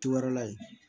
Te wɛrɛla ye